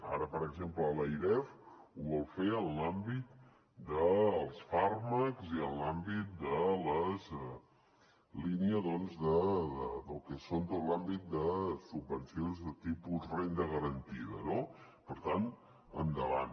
ara per exemple l’airef ho vol fer en l’àmbit dels fàrmacs i en l’àmbit de la línia del que són tot l’àmbit de subvencions de tipus renda garantida no per tant endavant